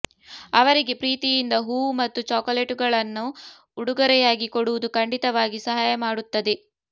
ಅವರಿಗೆ ಪ್ರೀತಿಯಿಂದ ಹೂವು ಮತ್ತು ಚಾಕೊಲೇಟುಗಳನ್ನು ಉಡುಗೊರೆಯಾಗಿ ಕೊಡುವುದು ಖಂಡಿತವಾಗಿ ಸಹಾಯ ಮಾಡುತ್ತದೆ